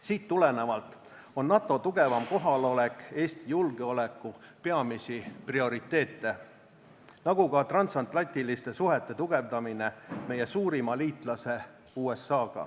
Siit tulenevalt on NATO tugevam kohalolek Eesti julgeoleku peamisi prioriteete, nagu ka transatlantiliste suhete tugevdamine meie suurima liitlase USA-ga.